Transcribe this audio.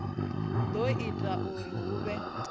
do ita zwauri hu vhe